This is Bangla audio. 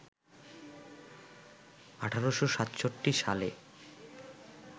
১৮৬৭ সালে